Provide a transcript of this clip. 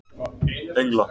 Engla